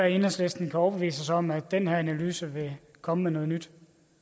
enhedslisten kan overbevise os om at den her analyse vil komme med noget nyt